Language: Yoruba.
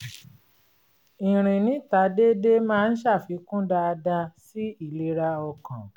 ìrìn níta dédé máa ń ṣàfikún dááda sí ìlera ọkàn